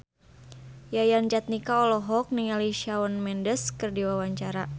Yayan Jatnika olohok ningali Shawn Mendes keur diwawancara